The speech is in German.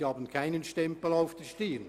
Sie tragen keinen Stempel auf der Stirn.